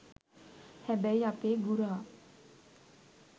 හැබැයි අපේ ගුරා